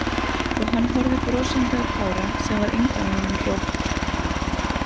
Og hann horfði brosandi á Kára sem var engan veginn rótt.